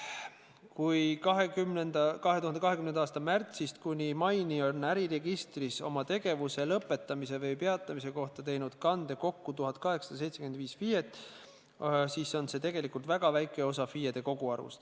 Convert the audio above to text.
Kui 2020. aasta märtsist kuni maini on äriregistris oma tegevuse lõpetamise või peatamise kohta teinud kande kokku 1875 FIE-t, siis on see tegelikult väga väike osa FIE-de koguarvust.